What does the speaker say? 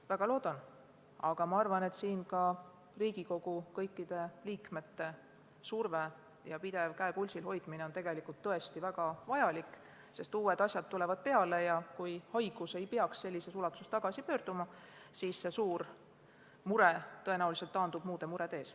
Ma väga loodan seda, aga arvan, et siin on ka kõikide Riigikogu liikmete surve ja pidev käe pulsil hoidmine tõesti väga vajalik, sest uued asjad tulevad peale ja kui haigus ei peakski sellises ulatuses tagasi pöörduma, siis see suur mure taandub tõenäoliselt muude murede ees.